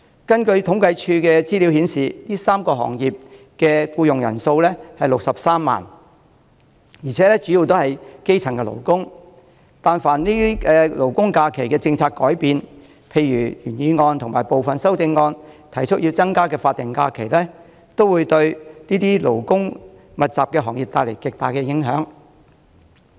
政府統計處的資料顯示，上述3個行業的僱員人數為63萬，而且主要是基層勞工，但凡勞工假期的政策有轉變，例如原議案和部分修正案提出要增加的法定假日，均會對這些勞工密集的行業帶來極大的影響。